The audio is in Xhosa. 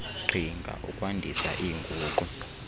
qhinga ukwandisa iinguqu